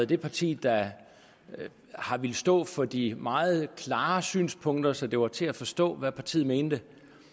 det parti der har villet stå for de meget klare synspunkter så det var til at forstå hvad partiet mente